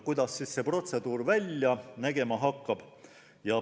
Kuidas see protseduur välja nägema hakkab?